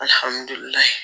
Alihamudulila